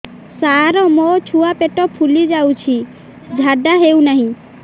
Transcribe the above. ସାର ମୋ ଛୁଆ ପେଟ ଫୁଲି ଯାଉଛି ଝାଡ଼ା ହେଉନାହିଁ